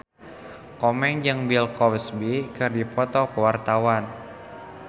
Komeng jeung Bill Cosby keur dipoto ku wartawan